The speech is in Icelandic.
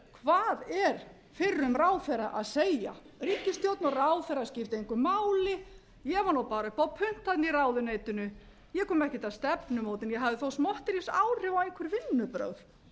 hvað er fyrrum ráðherra að segja ríkisstjórn og ráðherrar skipta engu máli ég var bara upp á punt í ráðuneytinu ég kom ekkert að stefnumótun ég hafði þó smotterísáhrif á einhver vinnubrögð þetta er